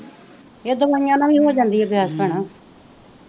ਇਹ ਦਿਵਾਇਆ ਨਾਲ ਹੀ ਹੋ ਜਾਂਦੀ ਗੈਸ ਭੈਣੇ,